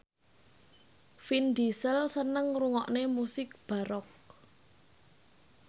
Vin Diesel seneng ngrungokne musik baroque